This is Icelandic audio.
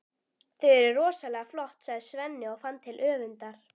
Þau eru rosalega flott, sagði Svenni og fann til öfundar.